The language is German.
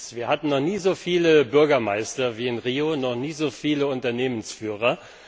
Wir hatten noch nie so viele Bürgermeister wie in Rio, noch nie so viele Unternehmensführer.